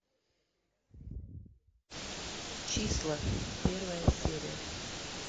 числа первая серия